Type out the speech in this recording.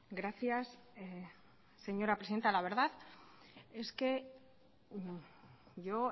gracias señora presidenta la verdad es que yo